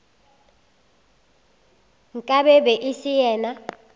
nka be e se yena